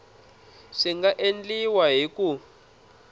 swi nga endliwa hi ku